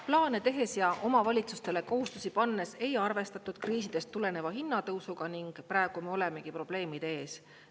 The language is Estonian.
Plaane tehes ja omavalitsustele kohustusi pannes ei arvestatud kriisidest tuleneva hinnatõusuga ning praegu me olemegi probleemide ees.